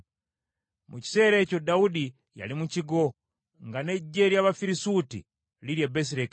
Mu kiseera ekyo Dawudi yali mu kigo, nga n’eggye ly’Abafirisuuti liri e Besirekemu.